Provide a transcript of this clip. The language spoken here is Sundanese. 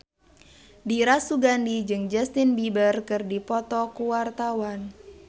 Dira Sugandi jeung Justin Beiber keur dipoto ku wartawan